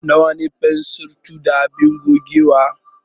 Nawa ne waɗannan fensir 2 da abin gogewa?